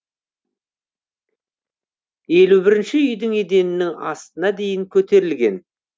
елу бірінші үйдің еденінің астына дейін көтерілген